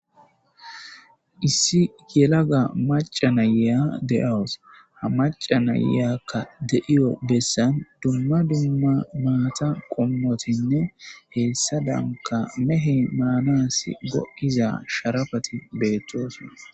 Issi yelaga macca na'iya de'awus. Ha macca na'iyakka de'iyo bessan dumma dumma naata qommotinne hessadankka mehey maanas go'iza sharafati de'osona.